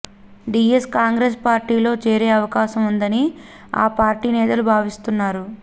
DS Congress పార్టీలో చేరే అవకాశం ఉందని ఆ పార్టీ నేతలు భావిస్తున్నారు